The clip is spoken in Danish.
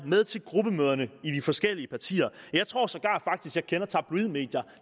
med til gruppemøderne i de forskellige partier jeg tror sågar jeg kender tabloidmedier